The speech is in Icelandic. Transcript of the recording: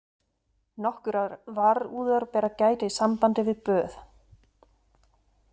Nokkurrar varúðar ber að gæta í sambandi við böð: